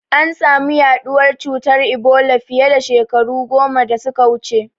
An samu yaɗuwar cutar Ebola fiye da shekaru goma da suka wuce.